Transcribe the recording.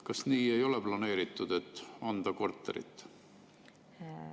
Kas seda ei ole planeeritud, et anda korterit?